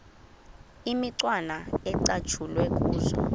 imicwana ecatshulwe kuzo